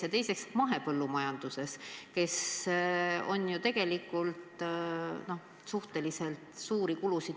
Ja teiseks märgin, et mahepõllumajanduses on ju tegelikult niigi suhteliselt suured kulud.